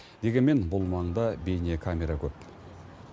дегенмен бұл маңда бейнекамера көп